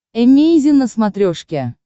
эмейзин на смотрешке